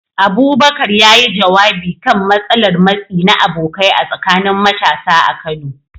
Abubakar, ya yi jawabi kan matsalar matsi na abokai a tsakanin matasa a Kano